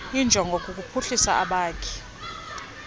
injongo kukuphuhlisa abakhi